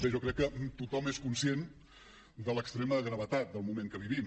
bé jo crec que tothom és conscient de l’extrema gravetat del moment que vivim